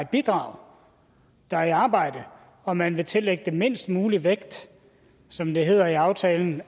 bidrager der er i arbejde og man vil tillægge det mindst mulig vægt som det hedder i aftalen